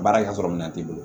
Baarakɛ yɔrɔ minɛn t'i bolo